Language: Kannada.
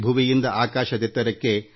ಭೂಮಿಯಿಂದ ಆಕಾಶಕ್ಕೆ